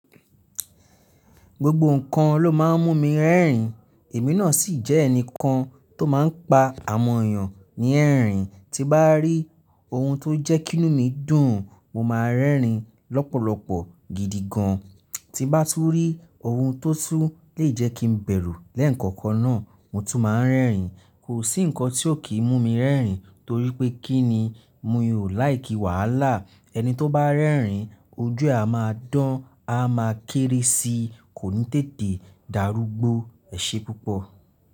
Gbogbo nǹkan ló máa ń mú mi rẹ́rìn, èmi náà sì jẹ́ ẹnì kan tó máa ń pa àwọ̀n eyàn ní ẹ̀rìn. Ti bá rí ohun tó jẹ́ kí inú mi dùn, mo máa rẹ́rìn lọ́pọ̀lọpọ̀ gidi gan. Ti bá tún rí ohun tó tún lè jẹ́ kí n bẹ̀rù lẹ́ẹ̀kọ̀kan náà, mo tún máa ń rẹ́rìn. Kò sí nǹkan tí ò kí ń mú mi rẹ́rìn torí pé kí ni? Mi ò like wàhálà. Ẹni tó bá n rẹ́rìn, ojú ẹ máa dán, a máa kéré si, kò ní tètè darúgbó, ẹ̀ ṣe púpọ̀